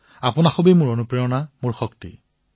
আপোনালোকেই মোৰ প্ৰেৰণা আপোনালোকেই মোৰ শক্তি